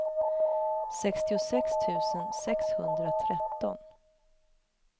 sextiosex tusen sexhundratretton